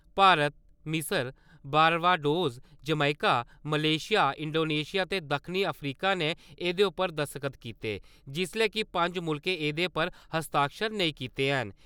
भारत, मिसर, Barbados, Jamaica, Malaysia, Indonesia ते दक्खनीअफ्रीका ने एह्‌‍दे उप्पर दस्तखत कीते जिसलै कि पंज मुल्खें एह्दे पर हस्ताक्षर नेईं कीते ऐन ।